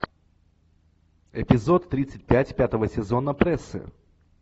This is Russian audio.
эпизод тридцать пять пятого сезона прессы